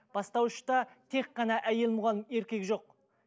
бастауышта тек қана әйел мұғалім еркек жоқ